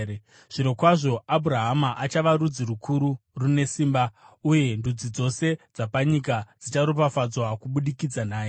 Zvirokwazvo Abhurahama achava rudzi rukuru rune simba, uye ndudzi dzose dzapanyika dzicharopafadzwa kubudikidza naye.